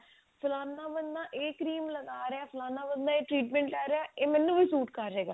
ਫਲਾਨਾ ਬੰਦਾ ਇਹ cream ਲਗਾ ਰਿਹਾ ਫਲਾਨਾ ਬੰਦਾ ਇਹ treatment ਲਈ ਰਿਹਾ